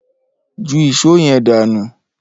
Ju ìs̩ó ye̩n dànù!